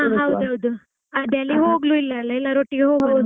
ಹಾ ಹೌದು ಹೌದು ಅದೇ ಅಲ್ಲಿ ಹೋಗಲೂ ಇಲ್ಲವಲ್ಲಾ ಎಲ್ಲರೂ ಒಟ್ಟಿಗೆ ಹೋಗುವಾ?